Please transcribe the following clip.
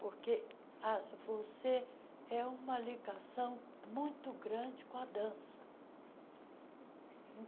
Porque a você é uma ligação muito grande com a dança.